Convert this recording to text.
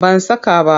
Ban saka ba.